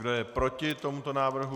Kdo je proti tomuto návrhu?